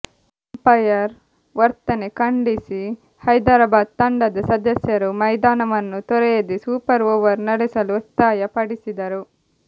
umpire ವರ್ತನೆ ಖಂಡಿಸಿ ಹೈದರಾಬಾದ್ ತಂಡದ ಸದಸ್ಯರು ಮೈದಾನವನ್ನು ತೊರೆಯದೇ ಸೂಪರ್ ಓವರ್ ನಡೆಸಲು ಒತ್ತಾಯಪಡಿಸಿದರು